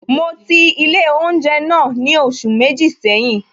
Mo ti ilé oúnjẹ náà ni oṣù méjì seyin